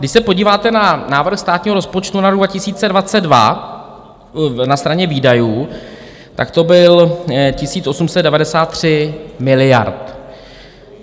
Když se podíváte na návrh státního rozpočtu na rok 2022 na straně výdajů, tak to bylo 1893 miliard.